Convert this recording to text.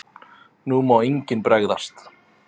NÚ MÁ ENGINN BREGÐAST!